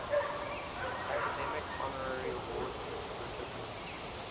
academy honorary award recipients